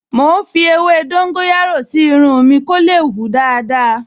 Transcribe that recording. Mò ń fi ewé dóńgóyárò sí irun mi kó lè hù dáadáa